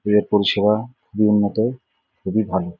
এদের পরিষেবা মনমতো খুবই ভালো।